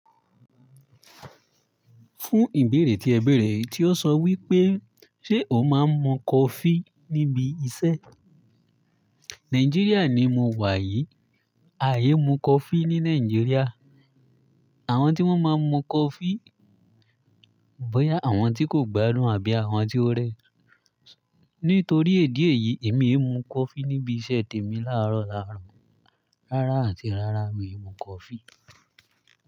Fún ìbéèrè tí ẹ bẹ̀rẹ̀ tí ó sọ wí pé ṣe o máa ń mu coffee níbi iṣẹ́? Nigeria ni mo wà yìí. A i mu coffee ni Naijiria. Àwon tí won máà mu coffee, bóyá àwon ti ko gbádùn àbí àwon ti o re. Nítorí èdi è yìí, èmi ò mu coffee n'íbi iṣẹ́ tèmi láàárọ̀ laarọ. Rárá àti rárá mi ò mu coffee.